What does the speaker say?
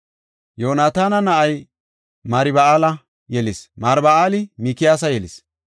Yoonataana na7ay Marba7aala yelis; Marba7aali Mikiyaasa yelis.